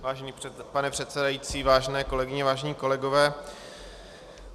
Vážený pane předsedající, vážené kolegyně, vážení kolegové.